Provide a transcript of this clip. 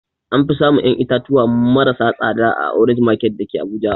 Anfi samun ƴan itatuwa maras tsada a orange market dake abuja